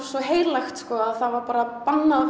svo heilagt að það var bara bannað að